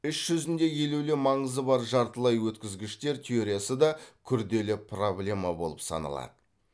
іс жүзінде елеулі маңызы бар жартылай өткізгіштер теориясы да күрделі проблема болып саналады